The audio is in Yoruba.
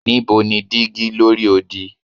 Nibo ni digi lori odi